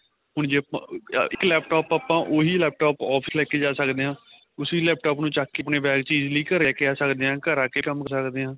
ਹੁਣ ਜੇ ਆਪਾਂ ਇੱਕ laptop ਆਪਾਂ ਉਹੀ laptop ਆਪਾਂ office ਲੈਕੇ ਜਾ ਸਕਦੇ ਆ ਉਸੀ laptop ਨੂੰ ਚੱਕ ਕੇ ਆਪਣੇ bag ਚ ਹੀ ਘਰੇ ਲੈ ਕੇ ਆ ਸਕਦੇ ਆ ਘਰ ਆ ਕੇ ਕੰਮ ਕਰ ਸਦਕੇ ਆ